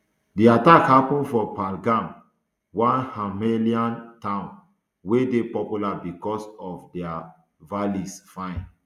di attack happun for pahalgam one himalayan town wey dey popular bicos of how dia valleys fine